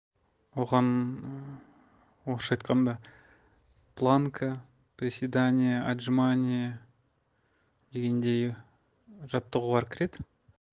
оған ыыы орысша айтқанда планка приседания отжимания дегендей жаттығулар кіреді